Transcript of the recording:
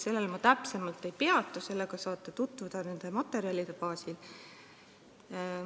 Sellel ma täpsemalt ei peatu, sellega saate tutvuda nende materjalide baasil.